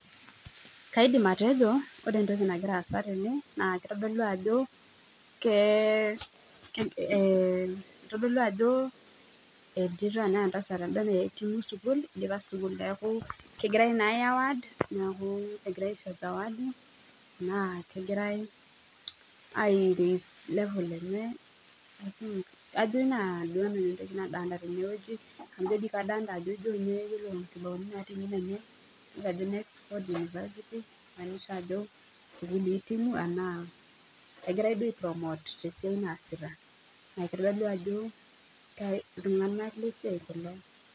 Kaidim atejo ore entoki nagira aasa tene naa keitodolu ajo entito naa entasat en'da eidipa sukul egirai aishozawadi enaa kegirai ailepie ninye ama jo kadolita ajo ijo ninye ajo University hitimu ashu egirai apromote tesiai naasita naa iltung'ana lesiai kulo